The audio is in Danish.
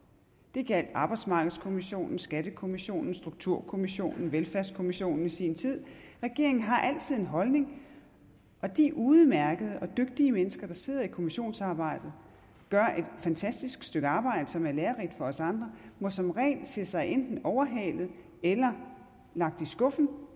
det gjaldt arbejdsmarkedskommissionen skattekommissionen strukturkommissionen og velfærdskommissionen i sin tid regeringen har altid en holdning og de udmærkede og dygtige mennesker der sidder i kommissionsarbejdet og fantastisk stykke arbejde som er lærerigt for os andre må som regel se sig enten overhalet eller lagt i skuffen